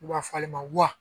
U b'a fɔ ale ma wa